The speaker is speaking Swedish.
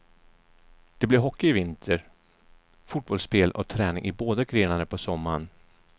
Det blir hockey i vinter, fotbollsspel och träning i båda grenarna på sommaren.